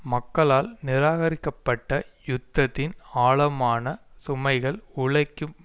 மக்களால் நிராகரிக்கப்பட்ட யுத்தத்தின் ஆழமான சுமைகள் உழைக்கும்